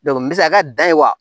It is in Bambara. misaliya ka da ye wa